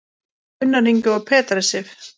Gunnar Ingi og Petra Sif.